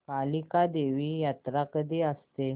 कालिका देवी यात्रा कधी असते